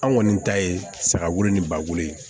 An kɔni ta ye saga wolo ni bakuru ye